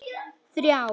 þrjár